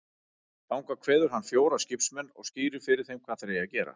Þangað kveður hann fjóra skipsmenn og skýrir fyrir þeim hvað þeir eigi að gera.